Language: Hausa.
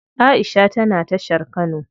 Aisha tana tashar kano.